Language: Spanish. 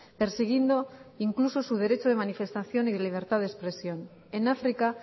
persiguiendo incluso su derecho de manifestación y de libertad de expresión en áfrica